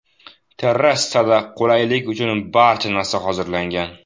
Terrasada qulaylik uchun barcha narsa hozirlangan.